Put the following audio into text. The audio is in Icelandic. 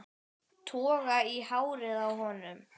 Toga í hárið á honum.